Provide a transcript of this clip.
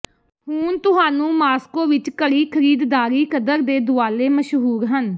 ਹੁਣ ਤੁਹਾਨੂੰ ਮਾਸ੍ਕੋ ਵਿੱਚ ਘੜੀ ਖਰੀਦਦਾਰੀ ਕਦਰ ਦੇ ਦੁਆਲੇ ਮਸ਼ਹੂਰ ਹਨ